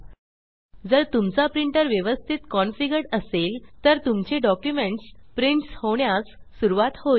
जर तुमचा प्रिंटर व्यवस्तीत कन्फिगर्ड असेल तर तुमचे डॉक्युमेंट्स प्रिन्टस होण्यास सुरवात होईल